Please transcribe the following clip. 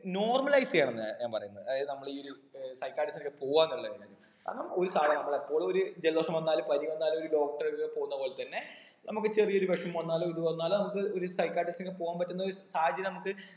normalise ചെയ്യണം ന്നാ ഞാൻ പറയുന്നെ അതായത് നമ്മള് ഈ ഒരു ഏർ psychiatrist ന്റെ അടുക്ക പോകാന്നുള്ളതിനെ ഒരു കാര്യം നമ്മള് എപ്പോളും ഒരു ജലദോഷം വന്നാല് ഒരു പനി വന്നാല് ഒരു doctor അടുക്ക പോന്ന പോലത്തന്നെ നമുക്ക് ചെറിയ ഒരു വിഷമം വന്നാല് ഇത് വന്നാല് നമുക്ക് ഒരു psychiatrist നെ പോകാൻ പറ്റുന്ന സാഹചര്യം നമുക്ക്